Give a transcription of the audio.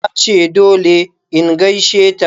Tace dole in gaisheta.